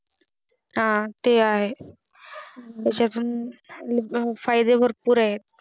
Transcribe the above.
हा ते आहे त्याच्या तुन फायदे भरपूर आहे